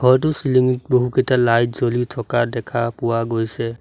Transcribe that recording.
ঘৰটোৰ চিলিঙিত বহুকেইটা লাইট জ্বলি থকা দেখা পোৱা গৈছে।